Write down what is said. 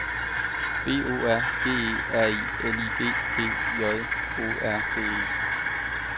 B O R G E R L I G G J O R T E